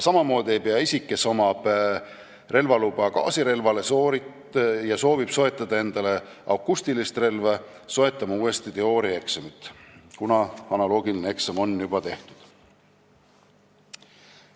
Samamoodi ei pea isik, kellel on gaasirelva luba ja kes soovib soetada endale akustilist relva, sooritama uuesti teooriaeksamit, kuna analoogiline eksam on juba tehtud.